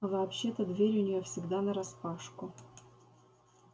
а вообще-то дверь у неё всегда нараспашку